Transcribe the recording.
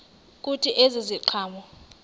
kuthi ezi ziqhamo